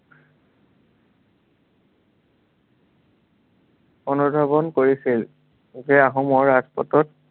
অনুধাৱন কৰিছিল যে, আহোমৰ ৰাজপাটত